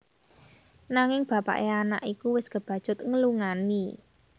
Nanging bapaké anak iku wis kebacut nglungani